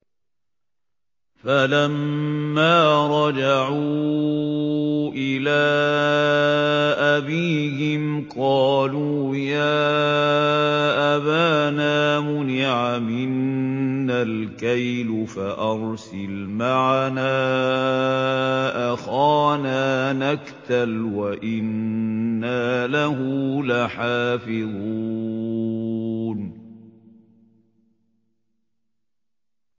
فَلَمَّا رَجَعُوا إِلَىٰ أَبِيهِمْ قَالُوا يَا أَبَانَا مُنِعَ مِنَّا الْكَيْلُ فَأَرْسِلْ مَعَنَا أَخَانَا نَكْتَلْ وَإِنَّا لَهُ لَحَافِظُونَ